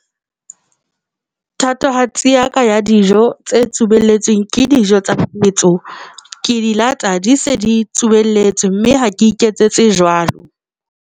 Thatohatsi ya ka ya dijo tse tsubelletsweng ke dijo tsa setso, ke di lata, di se di tsubelletswe mme ha ke iketsetse jwalo.